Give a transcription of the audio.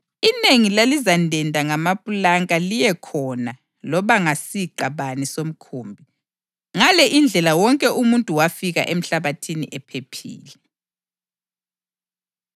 Inengi lalizandenda ngamapulanka liye khona loba ngasiqa bani somkhumbi. Ngale indlela wonke umuntu wafika emhlabathini ephephile.